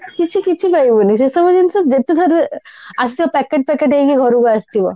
କିଛି କିଛି ପାଇବୁନି ସେସବୁ ଜିନିଷ ଯେତେ ଥର ଆସିବ packet packet ହେଇକି ଘରକୁ ଆସିଥିବ